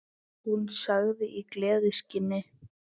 Hún sagði í gleði sinni